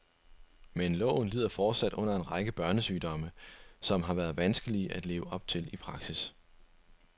Men loven lider fortsat under en række børnesygdomme, som har været vanskelige at leve op til i praksis.